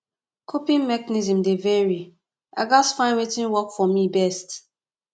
coping mechanisms dey vary i gats find wetin work for me best